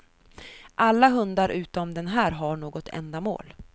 Alla hundar utom den här har något ändamål.